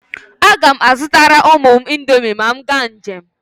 A ga m azụtara ụmụ m indomi ma m gaa njem.